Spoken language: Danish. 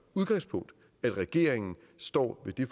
udgangspunkt at regeringen står ved